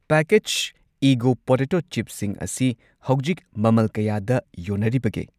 Package ꯏꯒꯣ potato ꯆꯤꯞꯁꯤꯡ ꯑꯁꯤ ꯍꯧꯖꯤꯛ ꯃꯃꯜ ꯀꯌꯥꯗ ꯌꯣꯟꯅꯔꯤꯕꯒꯦ?